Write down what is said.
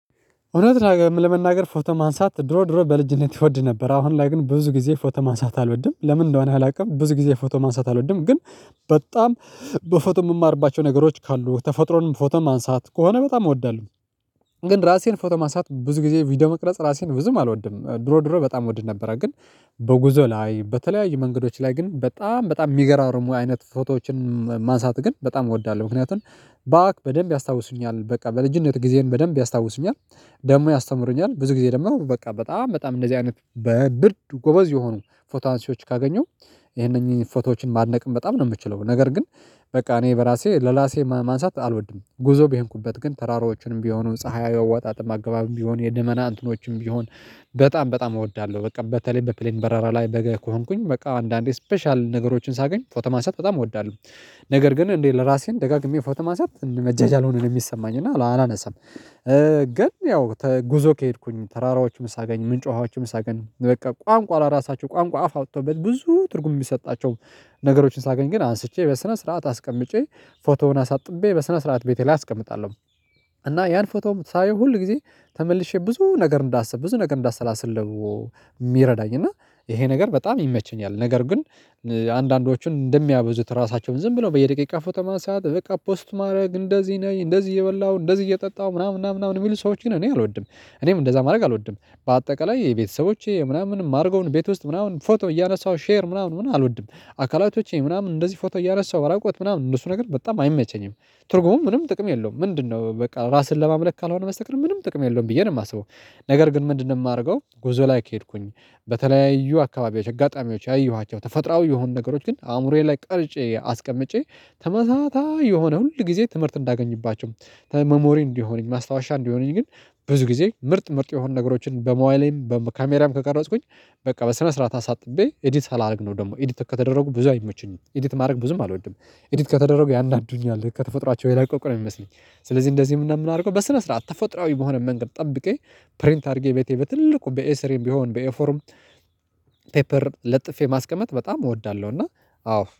እውነት ለመናገር ፎቶ ማንሳት ድሮ ድሮ በልጅነት እወድ ነበር አሁን ላይ ግን ብዙ ጊዜ ፎቶ ማንሳት አልወድም ለምን እንደው አላውቅም ብዙ ጊዜ ፎቶ ማንሳት አልወድም ግን በጣም በፎቶ የምማርባቸው ነገሮች ካሉ ተፈጥሮንም ፎቶም ማንሳት ከሆነ በጣም እወዳለሁ። ግን ራሴን ፎቶ ማንሳት ብዙ ጊዜ ቪዲዮ መቅረጽ ራሴን ብዙም አልወድም ድሮ ድሮ በጣም እወድ ነበረ ግን በጉዞ ላይ በተለያዩ መንገዶች ላይ ግን በጣም በጣም የሚገራርሙ አይነት ፎቶዎችን ማንሳት ግን በጣም እወዳለሁ ምክንያቱም በደንብ ያስታውሱኛል በቃ በልጅነት ጊዜን በደንብ ያስታውሱኛል ደግሞ ያስተምሩኛል ብዙ ጊዜ ደግሞ በቃ በጣም በጣም እንደዚህ አይነት በርግጥ ጎበዝ የሆኑ ፎቶ አንሺዎች ካገኘው ይሄንን ፎቶዎችን ማድነቅም በጣም ነው የምትችለው ነገር ግን በቃ እኔ በራሴ ለራሴ ማንሳት አልወድም። ጉዞ በሄንኩበት ግን ተራሮዎችንም ቢሆኑም ፀሀይ አወጣጥም አገባብም ቢሆን የደመና እንትኖችም ቢሆን በጣም በጣም እወዳለሁ በቃ በተለይ በፕሌን በረራ ላይ በገ ከሆንኩኝ በቃ አንዳንዴ ስፔሻል ነገሮችን ሳገኝ ፎቶ ማንሳት በጣም እወዳለሁ። ነገር ግን እንዴት ለራሴን ደጋግሜ ፎቶ ማንሳት መጃጃል ሆኖ ነው የሚሰማኝ እና አላነሳም ግን ያው ጉዞ ከሄድኩኝ ተራራዎችም ሳገኝ ምን ጮሃዎችም ሳገኝ በቃ ቋንቋ ላራሳቸው ቋንቋ አፍ አውጥጥው በል ብዙ ትርጉም የሚሰጣቸው ነገሮችን ሳገኝ ግን አንስቼ በስነ ስርዓት አስቀምጬ ፎቶውን አሳጥቤ በስነ ስርዓት ቤቴ ላይ አስቀምጣለሁ። እና ያን ፎቶም ሳየው ሁል ጊዜ ተመልሼ ብዙ ነገር እንዳስብ ብዙ ነገር እንዳሰላስል የሚረዳኝ እና ይሄ ነገር በጣም ይመቸኛል፣ ነገር ግን አንዳንዶቹን እንደሚያበዙት ራሳቸውን ዝም ብለው በየደቂቃ ፎተማ ሰዓት በቃ ፖስት ማድረግ እንደዚህ ነው እንደዚህ እየበላው እንደዚህ እየጠጣው ምናምን ምናምን የሚሉ ሰዎች ግን እኔ አልወድም እኔም እንደዛ ማድረግ አልወድም በአጠቃላይ የቤተሰቦቼ ምናምን ማርገዉን ቤት ውስጥ ምናምን ፎቶ እያነሳው ሼር ምናምን ምናምን አልወድም። አካላቶቼ ምናምን እንደዚህ ፎቶ እያረሳሁ ራቁት ምናምን እነሱ ነገር በጣም አይመቸኝም። ትርጉሙም ምንም ጥቅም የለውም ምንድነው በቃ ራስን ለማምለክ ካልሆነ መስተቀር ምንም ጥቅም የለውም ብዬ ነው። የማስበው ነገር ግን ምንድነው የማደርገው ጉዞ ላይ ከሄድኩኝ በተለያዩ አካባቢዎች አጋጣሚዎች ያየኋቸው ተፈጥሮአዊ የሆኑ ነገሮች ግን አእምሮዬ ላይ ቀርጬ አስቀምጬ ተመሳሳይ የሆነ ሁል ጊዜ ትምህርት እንዳገኝባቸው መሞሪ እንዲሆነኝ ማስታወሻ እንዲሆነኝ ግን ብዙ ጊዜ ምርጥ ምርጥ የሆኑ ነገሮችን በሞባይሌም በካሜራም ከቀረጽኩኝ በቃ በስነ ስርዓት አሳጥቤ ኤዲት ሳላደርግ ነው ደግሞ ኤዲት ከተደረጉ ብዙ አይሞችኝም ኤዲት ማድረግ ብዙም አልወድም። ኤዲት ከተደረጉ ያናድዱኛል ከተፈጥሯቸው የራቀቁ ነው የሚመስለኝ ስለዚህ እንደዚህ ምን እንደምን አድርገው በስነ ስርዓት ተፈጥሮአዊ በሆነ መንገድ ጠብቄ ፕሪንት አድርጌ ቤቴ በኤስሬም ቢሆን በኤፎርም ፔፐር ለጥፌ ማስቀመጥ በጣም እወዳለሁ እና አዎ።